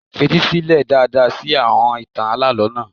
Fetí sílẹ̀ dáadáa sí àọn ìtàn alálọ̀ọ́ náà.